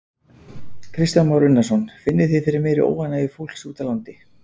Kristján Már Unnarsson: Finnið þið fyrir meiri óánægju fólks úti á landi?